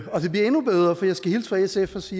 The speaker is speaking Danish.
sfs